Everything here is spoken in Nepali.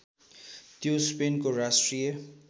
त्यो स्पेनको राष्ट्रिय